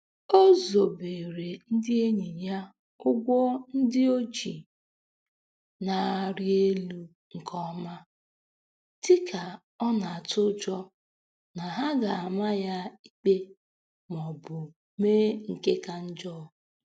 O zobeere ndị enyi ya ụgwọ ndị o ji na-arị elu nke ọma, dịka ọ na-atụ ụjọ na ha ga-ama ya ikpe maọbụ mee nke ka njọ.